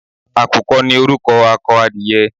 Àkùkọ ni orúkọ akọ adìyẹ.